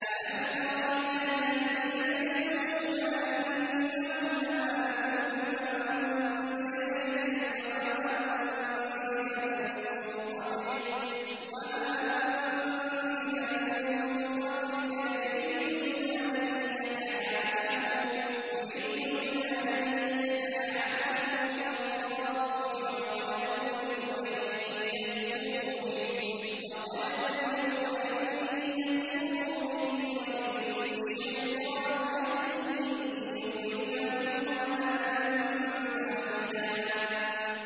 أَلَمْ تَرَ إِلَى الَّذِينَ يَزْعُمُونَ أَنَّهُمْ آمَنُوا بِمَا أُنزِلَ إِلَيْكَ وَمَا أُنزِلَ مِن قَبْلِكَ يُرِيدُونَ أَن يَتَحَاكَمُوا إِلَى الطَّاغُوتِ وَقَدْ أُمِرُوا أَن يَكْفُرُوا بِهِ وَيُرِيدُ الشَّيْطَانُ أَن يُضِلَّهُمْ ضَلَالًا بَعِيدًا